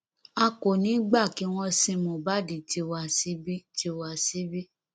a kò ní í gbà kí wọn sin mohbad tiwa síbí tiwa síbí